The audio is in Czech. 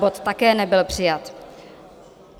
Bod také nebyl přijat.